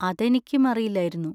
അതെനിക്കും അറിയില്ലായിരുന്നു.